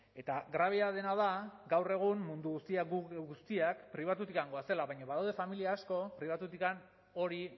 eta grabea dena da gaur egun mundu guztia guk geuk guztiak pribatutik goazela baina badaude familia asko pribatutik hori